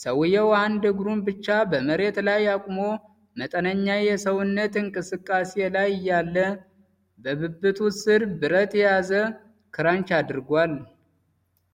ሰውየው አንድ እግሩን ብቻ በመሬት ላይ አቁሞ በመጠነኛ የሰውነት እንቅስቃሴ ላይ እያለ፣ በብብቱ ስር ብረት የያዘ ክራንች አድርጓል። ።